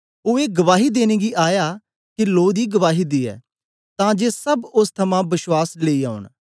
ओ ए गवाही देने गी आया के लो दी गवाही दियै तां जे सब ओस थमां बश्वास लेई औन